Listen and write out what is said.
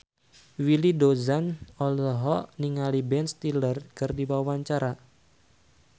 Willy Dozan olohok ningali Ben Stiller keur diwawancara